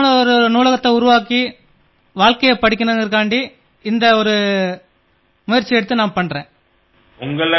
ஆகையால் நாம் ஏன் ஒரு நூலகத்தை ஏற்படுத்தி அதனால் பலரும் பலனடையச் செய்யக்கூடாது என்று தோன்றியது இதுவே எனக்கு உத்வேகம் அளித்தது